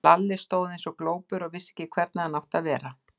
Lalli stóð eins og glópur og vissi ekki hvernig hann átti að vera.